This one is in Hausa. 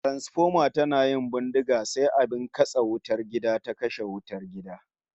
Transfoma tana yin bindiga sai abin katse wutar gida ta kashe wutar gidan